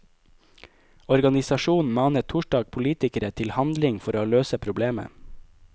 Organisasjonen manet torsdag politikere til handling for å løse problemet.